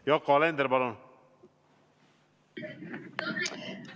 Yoko Alender, palun!